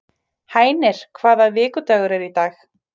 Hænir, hvaða vikudagur er í dag?